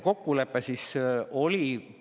Kokkulepe sai selline.